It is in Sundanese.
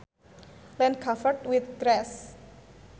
land covered with grass